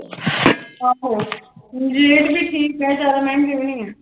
ਆਹੋ rate ਵੀ ਠੀਕ ਹੈ ਜ਼ਿਆਦਾ ਮਹਿੰਗੇ ਵੀ ਨੀ ਹੈ।